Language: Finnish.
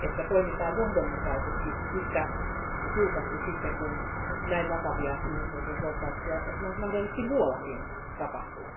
toimitaan johdonmukaisesti yhtä tiukasti, sitten kun näin vakavia ihmisoikeusloukkauksia mahdollisesti muuallakin tapahtuu.